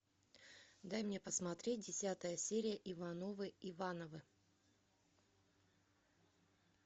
дай мне посмотреть десятая серия ивановы ивановы